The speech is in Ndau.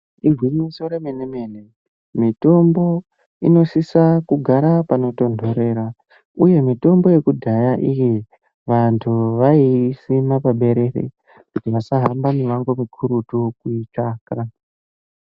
Igwinyiso remene-mene mitombo inosisa kugara panotonhorera, uye mitombo yekudhaya iyi, vantu vaiisima paberere, kuti vantu vasahamba mumango mukurutu kuitsvaka.